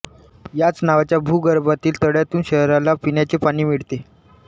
याच नावाच्या भूगर्भातील तळ्यातून शहराला पिण्याचे पाणी मिळते